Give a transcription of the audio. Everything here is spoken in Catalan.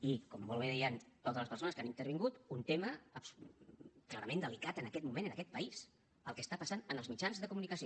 i com molt bé deien totes les persones que han intervingut un tema clarament delicat en aquest moment en aquest país el que està passant en els mitjans de comunicació